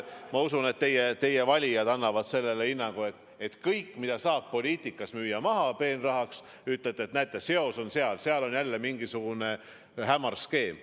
Ma usun, et teie valijad annavad sellele hinnangu, kui te kasutate kõike, mida saab poliitikas müüa maha peenraha saamiseks, ja ütlete, et näete, seal on seos, seal on jälle mingisugune hämar skeem.